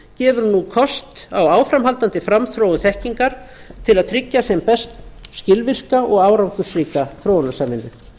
gefur nú kost á áframhaldandi framþróun þekkingar til að tryggja sem best skilvirka og árangursríka þróunarsamvinnu